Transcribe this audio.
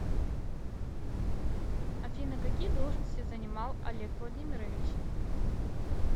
афина какие должности занимал олег владимирович